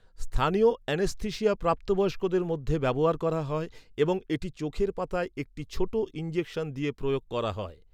স্থানীয় এনেস্থেশিয়া প্রাপ্তবয়স্কদের মধ্যে ব্যবহার করা হয় এবং এটি চোখের পাতায় একটি ছোট ইনজেকশন দিয়ে প্রয়োগ করা হয়।